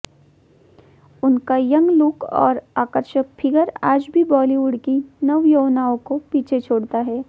उनका young look और आकर्षक फिगर आज भी बॉलीवुड की नवयौवनाओं को पीछे छोड़ता है